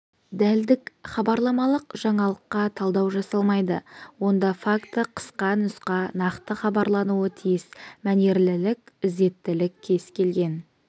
дәлдік хабарламалық жаңалыққа талдау жасалмайды онда факті қысқа нұсқа нақты хабарлануы тиіс мәнерлілік ізеттілік кез келген